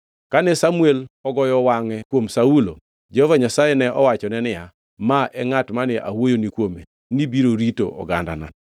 Kane Samuel ogoyo wangʼe kuom Saulo, Jehova Nyasaye ne owachone niya, “Ma e ngʼat mane awuoyoni kuome nibiro rito ogandana.”